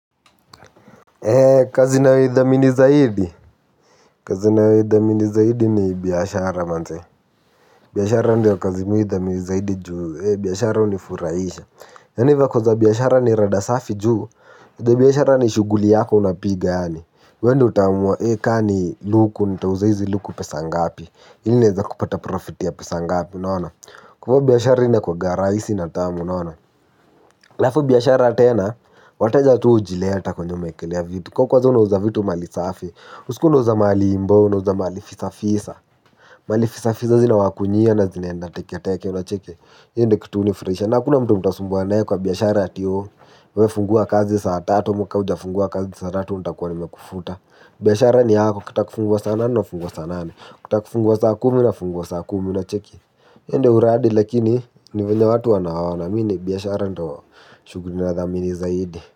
Eee kazi ninayo idhamini zaidi, kazi ninayo idhamini zaidi ni biashara manze, biashara ndio kazi mi hudhamini zaidi juu, ee biashara hunifuraisha, yaani vako za biashara ni rada safi juu, za biashara ni shughuli yako unapiga yani, huo nfo utamu ee kaa ni luku, nitauza hizi luku pesa ngapi, ili nieze kupata profit ya pesa ngapi unaona, kwa hivyo biashara inakuanga rahisi na tamu unaona, halafu biashara tena, wateja tuu hujileta kwenye umeekelea vitu, kaa kwanza unauza vitu mali safi, usikuwe unauza mali ambayo unajuwa ni mali fisa fisa mali fisa fisa zinawakunywia na zinaenda teke teke unacheki hiyo ndo kitu hunifurahisha na hakuna mtu mtasumbuana nae kwa biashara ati ooh wafungua kazi saa tatu muka ujafungua kazi saa tatu untakuwa ni mekufuta biyashara ni hako kutakufungua sana nafungua sana nane kutakufungua saa kumi nafungua saa kumi unacheke yende uradi lakini ni venya watu anawana mini biyashara nito shuguri na dhamini zaidi.